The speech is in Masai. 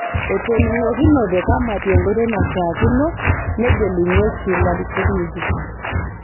Etoning'okinote kamati enkoitoi naishaakino negelunyeki larikok ng'ejuko